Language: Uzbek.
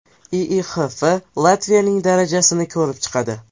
IIHF Latviyaning darajasini ko‘rib chiqadi.